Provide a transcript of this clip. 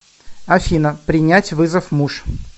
афина принять вызов муж